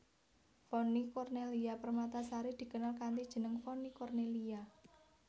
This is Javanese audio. Vonny Cornellya Permatasari dikenal kanthi jeneng Vonny Cornelia